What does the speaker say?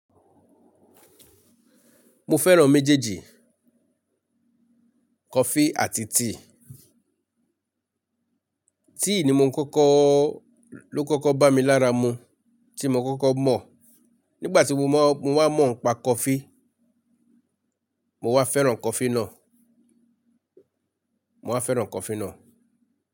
Mo fẹ́ran méjèèjì, coffee àti tea. Tea ni mo ń kọ́kọ́, ló kọ́kọ́ bá mi lára mu tí mo kọ́kọ́ mọ̀. Nígbà tí mo wá mọ̀ ń pa coffee, mo wá fẹ́ran coffee náà, mo wá fẹ́ran coffee náà.